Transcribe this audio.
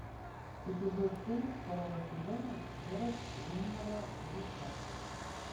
эпизод семь второго сезона город лунного луча